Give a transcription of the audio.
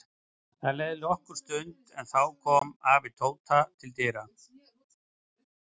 Það leið nokkur stund en þá kom afi Tóta til dyra.